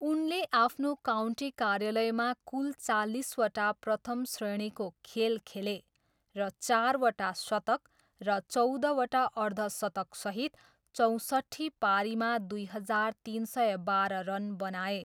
उनले आफ्नो काउन्टी कार्यकालमा कुल चालिसवटा प्रथम श्रेणीको खेल खेले र चारवटा शतक र चौधवटा अर्धशतकसहित चौसट्ठी पारीमा दुई हजार तिन सय बाह्र रन बनाए।